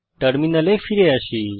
টার্মিনালে ফিরে আসি